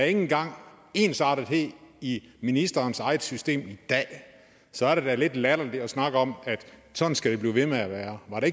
ikke engang er ensartethed i ministerens eget system i dag så er det da lidt latterligt at snakke om at sådan skal det blive ved med at være var det